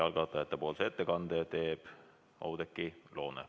Algatajate nimel teeb ettekande Oudekki Loone.